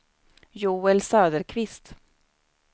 Joel Söderqvist